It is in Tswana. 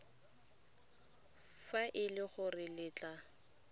fa e le gore letlha